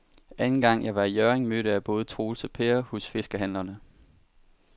Anden gang jeg var i Hjørring, mødte jeg både Troels og Per hos fiskehandlerne.